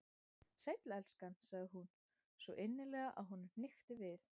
Sæll, elskan- sagði hún, svo innilega að honum hnykkti við.